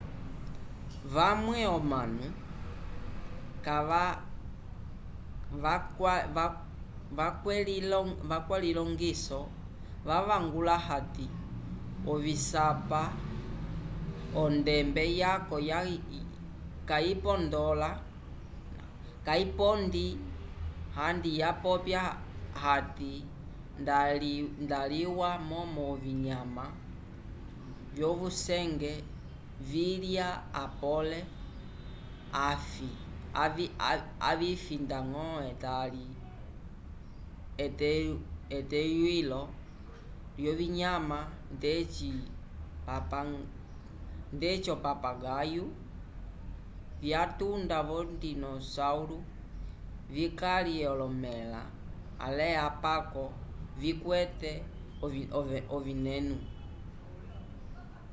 vamwe omanu vakwelilongiso vavangula hati ovisapa ondembe yaco kayipondi andi vapopya ati nda iliwa momo ovinyama vyovucengwe vilya apole avifi ndañgo etali eteywilo lyovinyama ndeci o-papagaio vyatunda vo dinossauro vikalye olomẽla ale apako vikwete ovineno